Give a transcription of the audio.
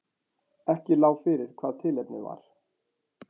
Ekki lá fyrir hvað tilefnið var